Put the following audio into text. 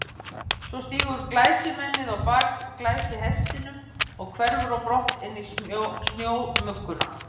Svo stígur glæsimennið á bak glæsihestinum og hverfur á brott inn í snjómugguna.